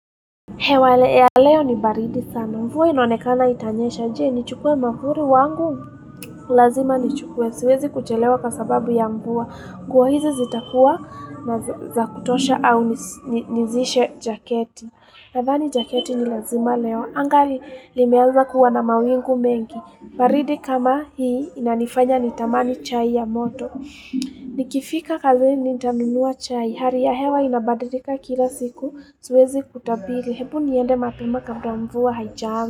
Hewa ya leo ni baridi sana, mvua inaonekana itanyesha. Je, nichukue mwavuli wangu, lazima nichukue, siwezi kuchelewa kwa sababu ya mvua, nguo hizi zitakuwa ni za kutosha au nizishe jaketi. Nadhani jaketi ni lazima leo. Anga limeanza kuwa na mawingu mengi. Baridi kama hii, inanifanya nitamani chai ya moto. Nikifika kazini nitanunua chai. Hali ya hewa inabadilika kila siku. Siwezi kutabiri. Hebu niende mapema kabla mvua haijaanza.